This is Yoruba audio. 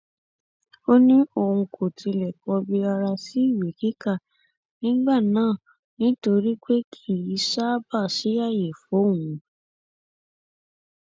ó ní òun kò tilẹ kọbi ara sí ìwé kíkà nígbà náà nítorí pé kì í ṣáàbà sí ààyè fóun